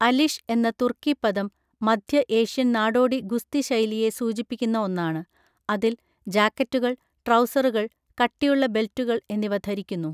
അലിഷ് എന്ന തുർക്കി പദം മധ്യ ഏഷ്യൻ നാടോടി ഗുസ്തി ശൈലിയെ സൂചിപ്പിക്കുന്ന ഒന്നാണ്, അതിൽ ജാക്കറ്റുകൾ, ട്രൗസറുകൾ, കട്ടിയുള്ള ബെൽറ്റുകൾ എന്നിവ ധരിക്കുന്നു.